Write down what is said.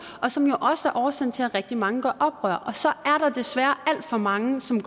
og som jo også er årsagen til at rigtig mange gør oprør så er der desværre alt for mange som